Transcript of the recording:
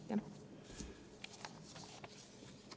Aitäh!